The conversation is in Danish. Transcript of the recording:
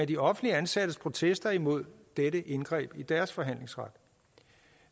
de offentligt ansattes protester imod dette indgreb i deres forhandlingsret